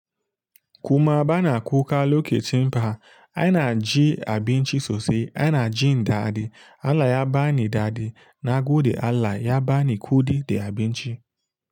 Kuma bana kuka lokacin ba, aina ji abinci sosai, aina jin daɗi. Allah ya bani daɗi na gode Allah ya bani kuɗi da abinci.